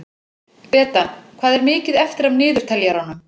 Beta, hvað er mikið eftir af niðurteljaranum?